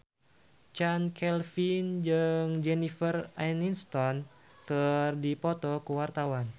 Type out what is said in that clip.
Chand Kelvin jeung Jennifer Aniston keur dipoto ku wartawan